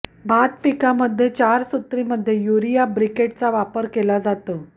भात पिकामध्ये चारसूत्रीमध्ये युरिया ब्रिकेटचा वापर केला जातो